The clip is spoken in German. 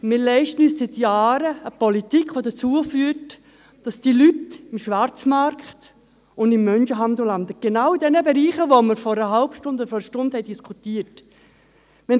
– Wir leisten uns seit Jahren eine Politik, die dazu führt, dass diese Leute im Schwarzmarkt und im Menschenhandel landen, in genau jenen Bereichen, über die wir vor einer halben Stunde oder Stunde diskutiert haben.